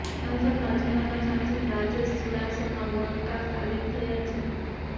સંસદમાં જુનાગઢ સાંસદ રાજેશ ચૂડાસમા બોલકા સાબિત થયા છે